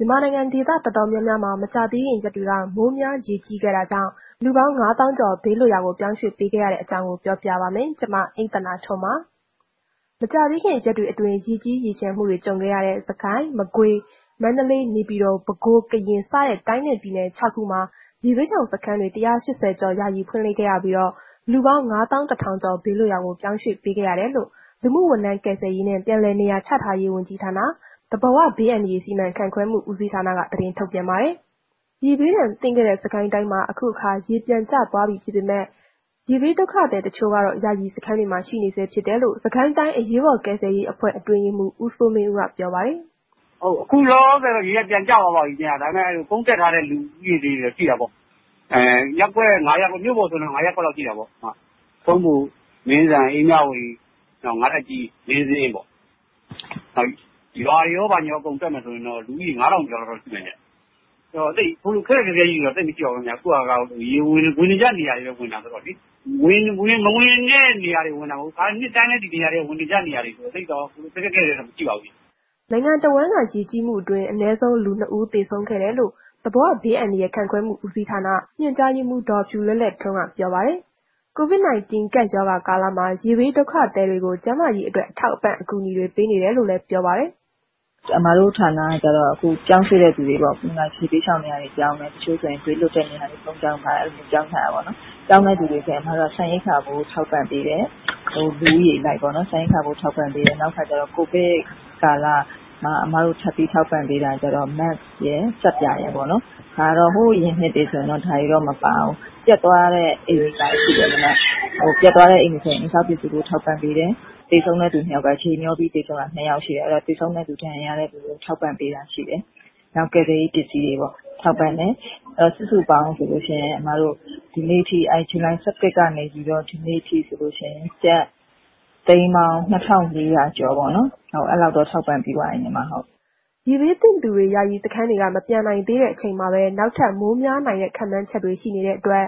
မြန်မာနိုင်ငံ ဒေသတော်တော်များများမှာ မကြာသေးခင်ရက်တွေက မိုးများရေကြီးခဲ့တာကြောင့် လူပေါင်း ၅၀,၀၀၀ ကျော် ဘေးလွတ်ရာ ပြောင်းရွှေ့ပေးခဲ့ရတဲ့အကြောင်း ပြောပြပါမယ်။ ဗွီအိုအေမြန်မာပိုင်းသတင်းထောက် မအိမ့်သန္တာထွန်းက သတင်းပေးပို့ထားပါတယ်။ မကြာသေးခင်ရက်တွေအတွင်း ရေကြီးရေလျှံမှုတွေ ကြုံခဲ့ရတဲ့ စစ်ကိုင်း၊ မကွေး၊ မန္တလေး၊ နေပြည်တော်၊ ပဲခူး၊ ကရင် စတဲ့ တိုင်းနှင့် ပြည်နယ် ခြောက်ခုမှာ ရေဘေးရှောင်စခန်း ၁၈၀ ကျော် ယာယီဖွင့်လှစ်ခဲ့ရပြီး လူပေါင်း ၅၁,၀၀၀ ဘေးလွတ်ရာ ပြောင်းရွှေ့ပေးခဲ့ရကြောင်း လူမှုဝန်ထမ်း ကယ်ဆယ်ရေးနဲ့ ပြန်လည်နေရာချထားရေး ဝန်ကြီးဌာန၊ သဘာဝဘေးအန္တရာယ်စီမံခန့်ခွဲမှု ဦးစီးဌာနက သတင်းထုတ်ပြန်ပါတယ်။ ရေဘေးဒဏ်သင့်ခဲ့တဲ့ စစ်ကိုင်းတိုင်းမှာ အခုအခါ ရေပြန်ကျသွားပြီးဖြစ်ပေမဲ့ ရေဘေးဒုက္ခသည်တချို့ကတော့ ယာယီစခန်းတွေမှာ ရှိနေဆဲ ဖြစ်ကြောင်းလည်း စစ်ကိုင်းတိုင်း အရေးပေါ်ကယ်ဆယ်ရေးအဖွဲ့ အတွင်းရေးမှူး ဦးစိုးမင်းဦးက ပြောပါတယ်။ “ခုလောလောဆယ်တော့ ရေက ပြန်ကျသွားပါပြီခင်ဗျ၊ ဒါပေမဲ့ ကယ်ဆယ်ထားတဲ့ လူဦးရေတော့ ရှိတာပေါ့။ ရပ်ကွက် ၅ ရပ်ကွက်၊ မြို့ပေါ်ဆိုရင်တော့ ၅ ရပ်ကွက်တော့ ရှိတာပေါ့။ ထုံးဘို၊ မင်းဇံ၊ အေးမြဝတီ၊ နောက် ၅ ထပ်ကြီး၊ လေးဇင်းပေါ့ ရွာတွေရော ဘာညာ အကုန်တွက်မယ်ဆိုရင်တော့ လူဦးရေ ၅,၀၀၀ ကျော်လောက်တော့ ရှိမယ်ဗျ။ သိပ်ခက်ခက်ခဲခဲကြီးတွေတော့ မရှိပါဘူးခင်ဗျ။ အခုဟာက ရေက အရင်ဝင်နေကြနေရာတွေပဲ ဝင်တာဆိုတော့လေ၊ အရင်မဝင်ဖူးတဲ့ နေရာတွေမဟုတ်ဘူး။ နှစ်တိုင်းလည်း ဒီနေရာတွေက ဝင်နေကြနေရာတွေဆိုတော့လေ တော်တော်ခက်ခက်ခဲခဲတွေတော့ မရှိပါဘူးခင်ဗျ။” နိုင်ငံတဝန်းက ရေကြီးမှုအတွင်း အနည်းဆုံး လူ နှစ် ဦးသေဆုံးခဲ့ကြောင်းလည်း သဘာဝဘေးအန္တရာယ် စီမံခန့်ခွဲမှု ဦးစီးဌာန ညွှန်ကြားရေးမှူး ဒေါ်ဖြူလဲ့လဲ့ထွန်းက ပြောပါတယ်။ COVID-19 ကပ်ရောဂါကာလမှာ ရေဘေးဒုက္ခသည်တွေကို ကျန်းမာရေးအတွက် အထောက်အပံ့ အကူအညီတွေ ပေးနေတယ်လို့လည်း ပြောပါတယ်။ “အမတို့ ဌာနက ကျတော့ ပြောင်းရွှေ့တဲ့သူတွေပေါ့။ ရေဘေးရှောင်စခန်းတွေကို ပြောင်းတယ်၊ တချို့ဆိုရင် ဘေးလွတ်တဲ့ နေရာတွေကို ပြောင်းတယ် အဲ့လိုမျိုးပေါ့။ ပြောင်းတဲ့သူတွေအတွက် ဆန်ရိက္ခာဖိုး ထောက်ပံ့ပေးတယ်။ လူဦးရေအလိုက်ပေါ့နော်။ နောက်တစ်ခုကကျတော့ ကိုဗစ် ကာလမှာ ထက်ပြီးထောက်ပံ့ပေးတာက ကျနော့် mask ရယ် ဆပ်ပြာရယ်ပေါ့နှော်။ ဒါတွေက ဟိုအရင်နှစ်တွေကတော့ မပါဘူး။ ပျက်သွားတဲ့ အိမ်တွေဆိုရင် အိမ်ဆောက်ပစ္စည်းထောက်ပံ့ ပေးတယ်။ သေဆုံးတဲ့ သူကတော့ နှစ် ယောက်ရှိတဲ့ သေဆုံးတဲ့သူ ဒဏ်ရာရတဲ့သူတွေကိုလည်း ထောက်ပံ့ပေးတယ်။ နောက် ကယ်ဆယ်ရေး ပစ္စည်းတွေပေါ့ ထောက်ပံ့တယ်။ စုစုပေါင်းဆိုလို့ရှိရင် အစ်မတို့ ဇူလိုင် ၁၁ ကနေ ဒီနေ့ထိဆိုလို့ရှိရင် ကျပ်သိန်းပေါင်း ၂,၄၀၀ ကျော်ပေါ့နော်။ အဲ့လောက်တော့ ထောက်ပံ့ပေးပြီးသွားပြီ။” ရေဘေးသင့်သူတွေ ယာယီစခန်းတွေက မပြန်နိုင်သေးတဲ့ အချိန်မှာပဲ နောက်ထပ်လည်း မိုးများနိုင်တဲ့ ခန့်မှန်းချက်တွေ ရှိနေတဲ့အတွက်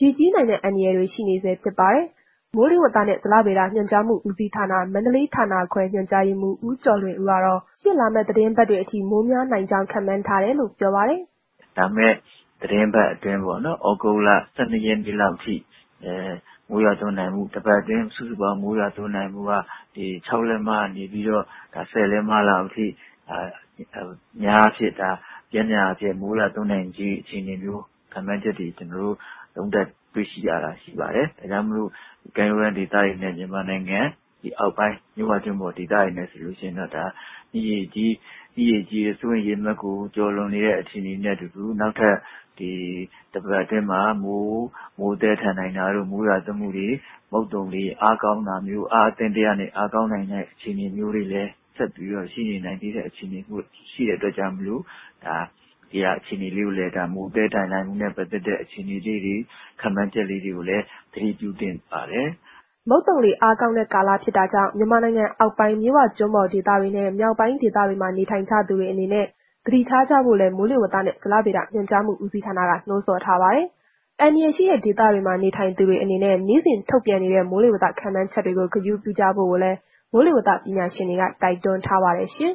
ရေကြီးနိုင်တဲ့ အန္တရာယ်တွေ ရှိနေဆဲဖြစ်ပါတယ်။ မိုးလေဝသနဲ့ ဇလဗေဒညွှန်ကြားမှုဦးစီးဌာန မန္တလေးဌာနခွဲ ညွှန်ကြားရေးမှူး ဦးကျော်လွင်ဦးကတော့ ရှေ့လာမယ့် သီတင်းပတ်အထိ မိုးများနိုင်ကြောင်း ခန့်မှန်းထားတယ်လို့ ပြောပါတယ်။ “လာမယ့် သတင်းပတ်အတွင်းပေါ့နော်၊ လာမယ့် ၁၂ ရက်လောက်ထိ တစ်ပတ်အတွင်းစုစုပေါင်း မိုးရွာသွန်းနိုင်မှုက ၆ လက်မကနေ ၁၀ လက်မလောက်အထိ အများအားဖြင့်ဒါပျမ်းမှအားဖြင့် မိုးရွာသွန်းနိုင်ခြေ အခြေအနေမျိုး ခန့်မှန်းတွေ့ရှိရတဲ့ အခြေအနေမျိုးရှိပါတယ်။ ဒါကြောင့်မို့ ကမ်းရိုးတန်းဒေသတွေနဲ့ မြန်မာနိုင်ငံ အောက်ပိုင်း မြစ်ဝကျွန်းပေါ် ဒေသတွေအနေနဲ့ ဆိုရင်တော့ မြစ်ရေကြီးတဲ့ စိုးရိမ်ရေအမှတ်ကို ကျော်လွန်နေတာတွေနဲ့အတူ နောက်ထပ် ဒီတစ်ပတ်အတွင်းမှာ မိုးသည်းထန်နိုင်တာတို့ မိုးရွာသွန်းမှုတွေ မုတ်သုံလေအားကောင်းတာမျိုး အားအသင့်အတင့်ကနေ အားကောင်းလာတာမျိုးတွေလည်း ဆက်ပြီးတော့ ရှိနေနိုင်သေးတဲ့ အခြေအနေမို့လို့ မိုးသည်းထန်နိုင်တဲ့ အခြေအနေ ခန့်မှန်းချက်လေးတွေကိုလည်း သတိပြုသင့်ပါတယ်။” မုတ်သုံလေ အားကောင်းတဲ့ ကာလဖြစ်တာကြောင့် မြန်မာနိုင်ငံအောက်ပိုင်း မြစ်ဝကျွန်းပေါ်ဒေသတွေနှင့် မြောက်ပိုင်းဒေသတွေမှာ နေထိုင်ကြသူတွေအနေနဲ့ သတိထားကြဖို့လည်း မိုးလေဝသနဲ့ ဇလဗေဒညွှန်ကြားမှုဦးစီးဌာနက နှိုးဆော်ထားပါတယ်။ အန္တရာယ်ရှိတဲ့ ဒေသတွေမှာ နေထိုင်သူတွေအနေနဲ့ နေ့စဉ်ထုတ်ပြန်နေတဲ့ မိုးလေဝသခန့်မှန်းချက်တွေကို ဂရုပြုကြဖို့လည်း မိုးလေဝသပညာရှင်တွေက တိုက်တွန်းထားပါတယ်ရှင်